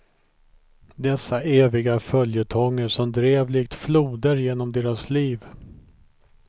Dessa eviga följetonger som drev likt floder genom deras liv.